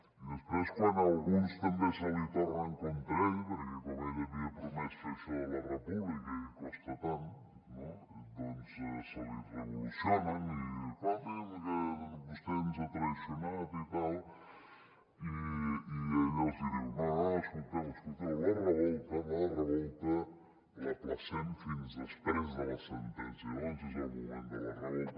i després quan alguns també se li tornen contra ell perquè com ell havia promès fer això de la república i costa tant no doncs se li revolucionen i escolti’m que vostè ens a traït i tal i ell els hi diu no no no escolteu escolteu la revolta la revolta l’ajornem fins després de la sentència llavors és el moment de la revolta